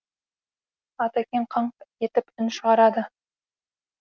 атекең қаңқ етіп үн шығарады